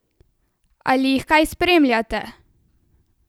Ali jih kaj spremljate?